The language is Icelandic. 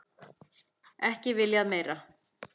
Ekki viljað meira.